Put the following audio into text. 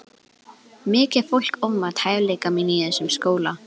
Mikið sem fólk ofmat hæfileika mína í þessum skóla.